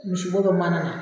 Misi bo dɔ mana na